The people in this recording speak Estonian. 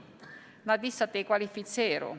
Nad lihtsalt ei kvalifitseeru.